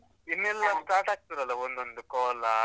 ಇನ್ನೆಲ್ಲ start ಆಗ್ತದಲ್ಲ ಒಂದ್ ಒಂದು ಕೋಲ.